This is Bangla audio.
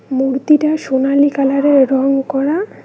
মূর্তিটা সোনালী কালারের রং করা।